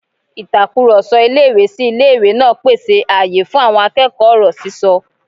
Ìtakùrọ̀sọ ilé-ìwé-sí-ilé-ìwé náà pèsè àyè fún àwọn akẹ́kọ̀ọ́ ọ̀rọ̀ sísọ